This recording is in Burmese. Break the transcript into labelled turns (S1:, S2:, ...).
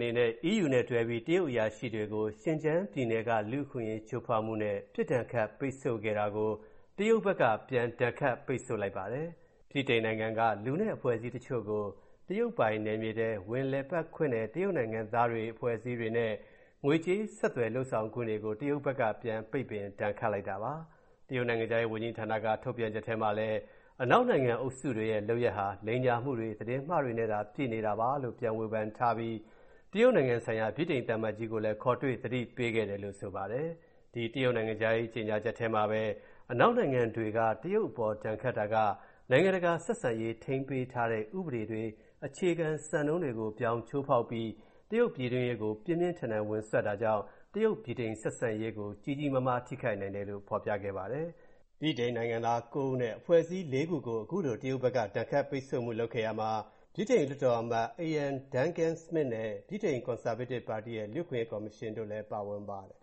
S1: နေနဲ့ EU နဲ့တွဲပြီး တရုတ်အရာရှိတွေကို Xinjiang ပြည်နယ်လူ့အခွင့်အရေးချိုးဖောက်မူနဲ့ ပစ်ဒဏ်ခတ်ပိတ်ဆို့ခဲ့တာကို၊ တရုတ်ဘက်က ပြန်ဒဏ်ခတ် ပိတ်ဆို့လိုက်ပါတယ်။ ဗြိတိန်နိုင်ငံက လူနဲ့ အဖွဲ့အစည်းတချို.ကို၊ တရုတ်ပိုင်နယ်မြေထဲ ဝင်လည်ပတ်ခွင့်နဲ့ တရုတ်နိုင်ငံသားတွေ၊ အဖွဲ့အစည်းတွေနဲ့ ငွေကြေးဆက်သွယ်ခွင့်တွေကို တရုတ်ဘက်က ပြန်ပိတ်ပင်ဒဏ်ခတ်လိုက်ပါတယ်။ တရုတ်နိုင်ငံခြားရေးဝန်ကြီးဌာနကထုတ်ပြန်ချက်ထဲမှာလည်း၊ အနောက်နိုင်ငံတွေအုပ်စုရဲ့လုပ်ရပ်ဟာ၊ လိမ်ညာမူတွေ၊ သတင်းမှားတွေနဲ့သာပြည့်နေတာပါလို့၊ ပြန်ဝေဖန်ထားပြီး၊ တရုတ်နိုင်ငံဆိုင်ရာ ဗြိတိန်သံအမတ်ကြီးကိုလည်း ခေါ်တွေ့သတိပေးခဲ့တယ်လိုဆိုပါတယ်။ ဒီ တရုတ်နိုင်ငံခြားရေးကြေညာချက်ထဲမှာပဲ၊ အနောက်နိုင်ငံတွေ တရုတ်အပေါ်ဒဏ်ခတ်တာက၊ နိုင်ငံတကာဆက်ဆံရေးထိန်းထားပေးတဲ့ ဥပဒေတွေ အခြေခံစံနှုန်းတွေကို ဗြောင်ချိုးဖောက်ပြီး၊ တရုတ်ပြည်တွင်းရေးကို ပြင်းပြင်းထန်ထန်ဝင်စွက်တာကြောင့်၊ တရုတ်-ဗြိတိန်ဆက်ဆံရေးကို ကြီးကြီးမားမားထိခိုက်နိုင်တယ်လို့ ဖော်ပြခဲ့ပါတယ်။ ဗြိတိန်နိုင်ငံသား ၉ ဦးနဲ အဖွဲ့အစည်း ၄ ခုကို အခုလိုတရုတ်ဖက်က ဒဏ်ခတ်ပိတ်ဆိုးမူလုပ်ခဲ့ရာမှာ ဗြိတိန်လွှတ်တော်အမတ် Iain Duncan Smith နဲ့ ဗြိတိန် Conservative ပါတီရဲ့ လူ့အခွင့်အရေးကော်မရှင်တို့လည်း ပါဝင်ပါတယ်